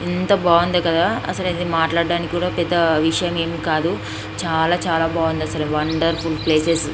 ఎంత బాగుందో కదా అసలు మాట్లాడడానికి కూడా విషయం ఏమి గుర్తు రావట్లేదు. చాలా చాలా బాగుంది. Wonderful places --